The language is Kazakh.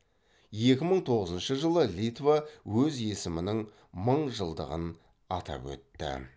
екі мың тоғызыншы жылы литва өз есімінің мың жылдығын атап өтті